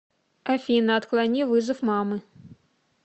афина отклони вызов мамы